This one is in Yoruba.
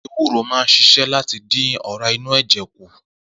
Ewúrò máa ń s̩is̩é̩ láti dín ò̩rá inú è̩jè̩ kù